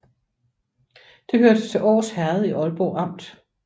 Det hørte til Års Herred i Aalborg Amt